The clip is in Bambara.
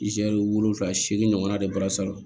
wolonwula seegin ɲɔgɔnna de bɔra salon